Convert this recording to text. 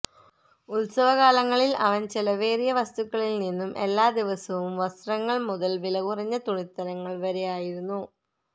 ഉത്സവകാലങ്ങളിൽ അവൻ ചെലവേറിയ വസ്തുക്കളിൽ നിന്നും എല്ലാ ദിവസവും വസ്ത്രങ്ങൾ മുതൽ വിലകുറഞ്ഞ തുണിത്തരങ്ങൾ വരെ ആയിരുന്നു